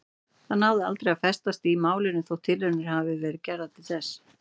Það náði aldrei að festast í málinu þótt tilraunir hafi verið gerðar til þess.